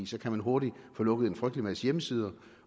så kan man hurtigt få lukket en frygtelig masse hjemmesider